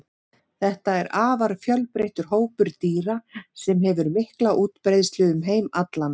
þetta er afar fjölbreyttur hópur dýra sem hefur mikla útbreiðslu um heim allan